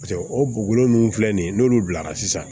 Paseke o bugukolo nunnu filɛ nin ye n'olu bilara sisan